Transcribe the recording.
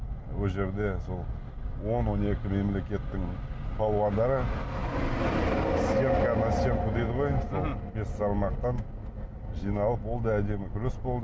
ол жерде сол он он екі мемлекеттің балуандары сьемка на сьемку дейді ғой сол бес салмақтан жиналып ол да әдемі күрес болды